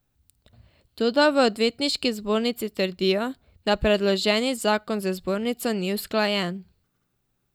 Toda v odvetniški zbornici trdijo, da predloženi zakon z zbornico ni usklajen.